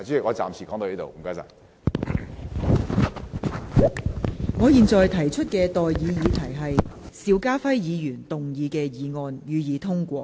我現在向各位提出的待議議題是：邵家輝議員動議的議案，予以通過。